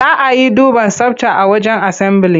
Za a yi duban tsabta a wajen asambili.